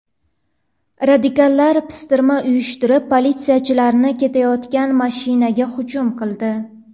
Radikallar pistirma uyushtirib, politsiyachilar ketayotgan mashinaga hujum qildi.